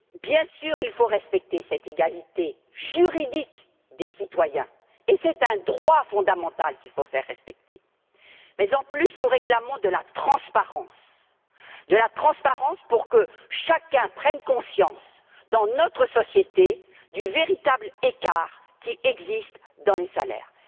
Bien sûr, il faut respecter cette égalité juridique des citoyens, et c'est un droit fondamental qu'il faut faire respecter. Mais, en plus, nous réclamons de la transparence, de la transparence pour que chacun prenne conscience, dans notre société, du véritable écart qui existe entre les salaires.